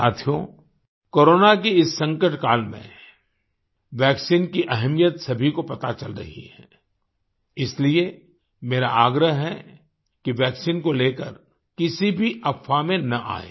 साथियो कोरोना के इस संकट काल में वैक्सीन की अहमियत सभी को पता चल रही है इसलिए मेरा आग्रह है कि वैक्सीन को लेकर किसी भी अफ़वाह में न आयें